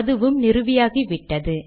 அதுவும் நிறுவியாகிவிட்டது